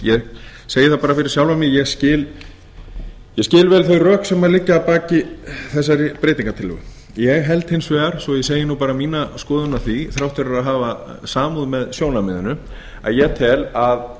segi það bara fyrir sjálfan mig að ég skil vel þau rök sem liggja að baki þessari breytingartillögu ég held hins vegar svo ég segi bara mína skoðun á því að þrátt fyrir að hafa samúð með sjónarmiðinu tel ég að